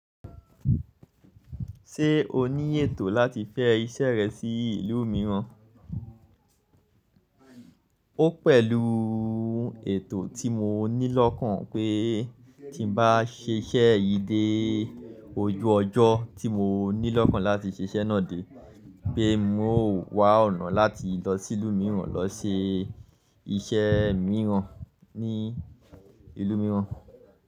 Ṣé o ní ètò láti fẹ́ iṣẹ́ rẹ sí ìlú mìíràn? Ó pẹ̀lú ètò tí mo ní lọ́kàn pé tí ń bá ṣiṣẹ yìí dé ojú ọjọ́ tí mo ní lọ́kàn láti ṣẹṣẹ náà dé, pé n ó wà ọ̀nà láti lọ sí ìlú mìíràn lọ ṣe iṣẹ́ mìíràn ní ìlú mìíràn.